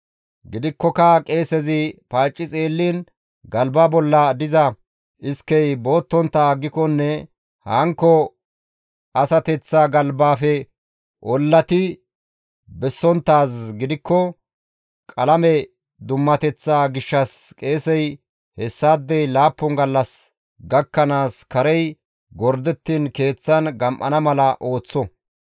Gidikkoka qeesezi paacci xeelliin galba bolla diza iskey boottontta aggikonne hankko asateththaa galbaafe ollati bessonttaaz gidikko qalame dummateththa gishshas qeesey hessaadey laappun gallas gakkanaas karey gordettiin keeththan gam7ana mala ooththo.